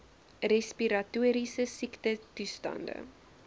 respiratoriese siektetoe stande